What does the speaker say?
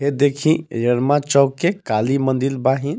ए देखीं चौक के काली मन्दिर बाहिं.